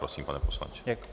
Prosím, pane poslanče.